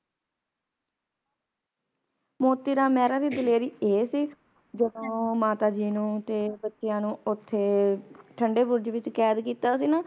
ਮੋਤੀ ਰਾਮ ਮੇਹਰਾ ਦੀ ਦਲੇਰੀ ਏ ਸੀ ਜਦੋ ਮਾਤਾ ਜੀ ਨੂੰ ਤੇ ਬੱਚਿਆਂ ਨੂੰ ਓਥੇ ਠੰਡੇ ਬੁਰਜੇ ਵਿਚ ਕੈਦ ਕੀਤਾ ਸੀ ਨਾ